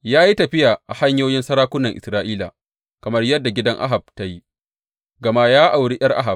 Ya yi tafiya a hanyoyin sarakunan Isra’ila, kamar yadda gidan Ahab ta yi, gama ya auri ’yar Ahab.